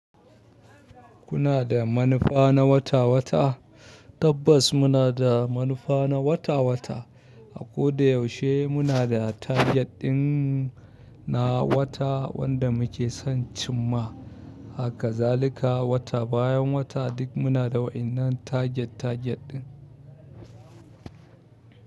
Kuna da manufa na wata-wata? Tabbas muna da manufa na wata-wata. A ko da yaushe muna da target ɗinmu na wata wanda muke son cimma. Haka zalika wata bayan wata duk muna da wa'innan target target ɗin.